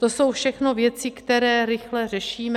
To jsou všechno věci, které rychle řešíme.